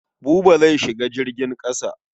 Buba zai shiga jirgin ƙasa.